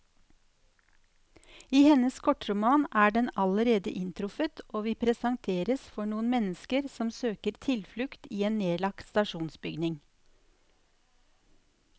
I hennes kortroman er den allerede inntruffet, og vi presenteres for noen mennesker som søker tilflukt i en nedlagt stasjonsbygning.